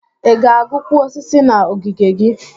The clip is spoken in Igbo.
Ị ga-agụkwu osisi na ogige gị?